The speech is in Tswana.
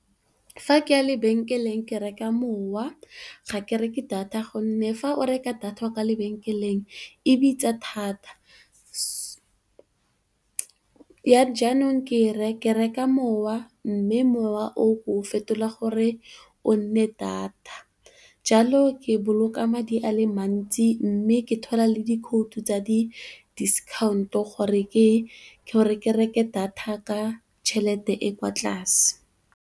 Fa ke ya lebenkeleng ke reka mowa ga ke reke data gonne, fa o reka data kwa lebenkeleng e bitsa thata. Jaanong, ke reka mowa mme mowa o fetola gore o nne data jalo ke boloka madi a le mantsi mme ke thola le di khoutu tsa disikhaonto gore ke gore ke reke data ka tšhelete e kwa tlase.